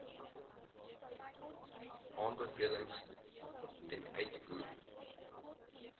aanbevelings ten uitvoer